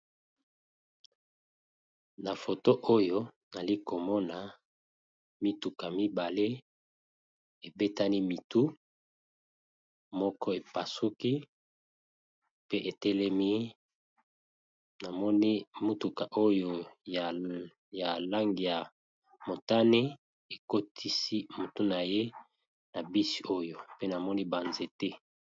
na foto oyo alikomona mituka mibale ebetani mitu moko epasuki pe etelemi namoni mutuka oyo ya langi ya motane ekotisi mutu na ye na bisi oyo pe namoni banzete